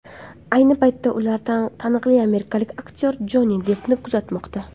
Ayni paytda ular taniqli amerikalik aktyor Jonni Deppni kuzatmoqda.